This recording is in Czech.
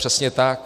Přesně tak.